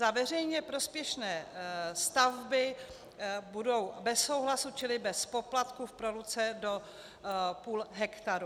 Za veřejně prospěšné stavby budou bez souhlasu čili bez poplatku v proluce do půl hektaru.